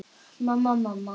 Mamma, mamma.